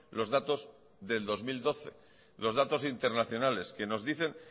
los datos del dos mil doce los datos internacionales que nos dicen